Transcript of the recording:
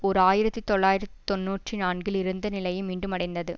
ஓர் ஆயிரத்தி தொள்ளாயிர தொன்னூற்றி நான்கில் இருந்த நிலையை மீண்டும் அடைந்தது